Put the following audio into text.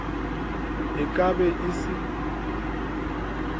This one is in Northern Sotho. e ka be e se